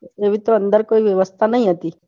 એવી તો કોઈ વ્યવસ્થા અંદર નઈ હતી નતી.